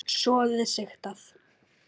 Soðið sigtað.